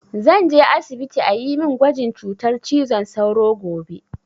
Zan je asibiti a yi min gwajin cutar cizon sauro gobe